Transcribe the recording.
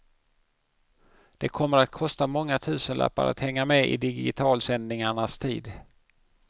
Det kommer att kosta många tusenlappar att hänga med i digitalsändningarnas tid.